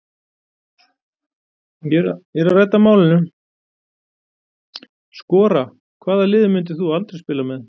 Skora Hvaða liði myndir þú aldrei spila með?